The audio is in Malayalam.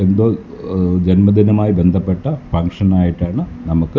എന്തോ ഏഹ് ജന്മദിനമായി ബന്ധപ്പെട്ട ഫംഗ്ഷൻ ആയിട്ടാണ് നമുക്ക് --